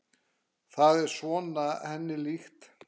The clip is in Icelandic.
Það er svona henni líkt.